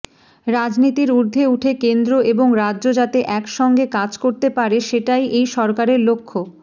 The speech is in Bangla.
রাজনীতির ঊর্ধ্বে উঠে কেন্দ্র এবং রাজ্য যাতে একসঙ্গে কাজ করতে পারে সেটাই এই সরকারের লক্ষ্য